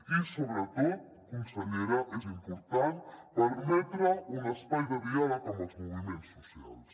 i sobretot consellera és important permetre un espai de diàleg amb els moviments socials